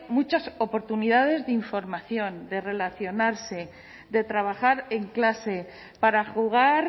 muchas oportunidades de información de relacionarse de trabajar en clase para jugar